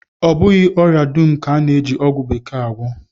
Ọ bụghị ọria dum ka a na-eji ọgwụ bekee agwọ